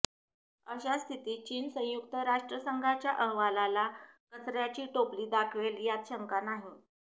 अशा स्थितीत चीन संयुक्त राष्ट्रसंघाच्या अहवालाला कचर्याची टोपली दाखवेल यात शंका नाही